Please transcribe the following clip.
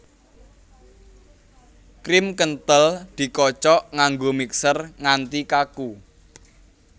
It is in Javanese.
Krim kenthel dikocok nganggo mixer nganti kaku